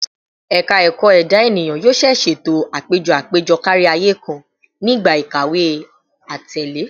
Ẹka Ẹkọ Eda Eniyan yoo ṣee ṣeto apejọ apejọ kariaye kan ni igba ikawe atẹle